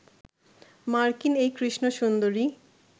মার্কিন এই কৃষ্ণ সুন্দরী